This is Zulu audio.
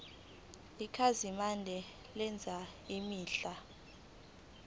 ikhasimende lenza izinhlelo